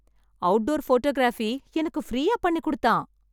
Outdoor photography எனக்கு ஃப்ரீயா பண்ணி கொடுத்தான்.